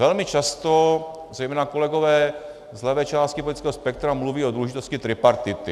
Velmi často zejména kolegové z levé části politického spektra mluví o důležitosti tripartity.